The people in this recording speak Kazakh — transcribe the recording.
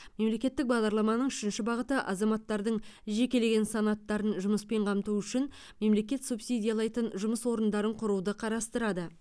мемлекеттік бағдарламаның үшінші бағыты азаматтардың жекелеген санаттарын жұмыспен қамту үшін мемлекет субсидиялайтын жұмыс орындарын құруды қарастырады